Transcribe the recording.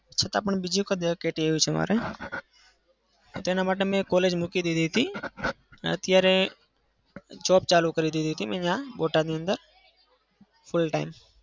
છતાં પણ બીજી વખત કે ટી આવી છે મારે. તેના માટે મેં college મૂકી દીધી હતી. અત્યારે job ચાલુ કરી દીધી હતી અહિયાં બોટાદની અંદર. full time